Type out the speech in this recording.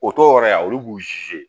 O t'o yɔrɔ ye yan olu b'u